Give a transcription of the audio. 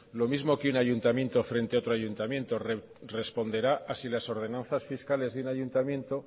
lo mismo que un ayuntamiento frente a otro ayuntamiento responderá a si las ordenanzas fiscales de un ayuntamiento